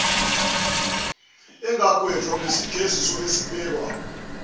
angagwetshwa ngesijeziso esibekwa